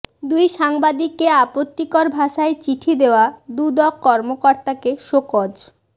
দুই সাংবাদিককে আপত্তিকর ভাষায় চিঠি দেয়া দুদক কর্মকর্তাকে শোকজ